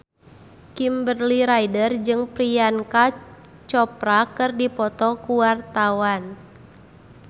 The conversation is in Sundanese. Kimberly Ryder jeung Priyanka Chopra keur dipoto ku wartawan